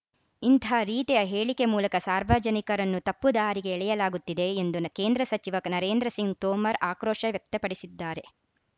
ಇಂಥ ರೀತಿಯ ಹೇಳಿಕೆ ಮೂಲಕ ಸಾರ್ವಜನಿಕರನ್ನು ತಪ್ಪು ದಾರಿಗೆ ಎಳೆಯಲಾಗುತ್ತಿದೆ ಎಂದು ಕೇಂದ್ರ ಸಚಿವ ನರೇಂದ್ರ ಸಿಂಗ್‌ ತೋಮರ್‌ ಆಕ್ರೋಶ ವ್ಯಕ್ತಪಡಿಸಿದ್ದಾರೆ